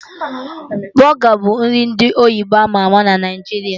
Bọga bụ nri ndị oyibo ama ama na Naijiria